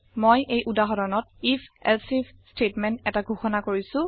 মই এই উদাহৰণত if এলছেইফ ষ্টেটমেণ্ট এটা ঘোষণা কৰিছো